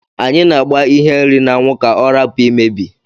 Anyi a agba ihe nri na anwu ka ọrapu imebi..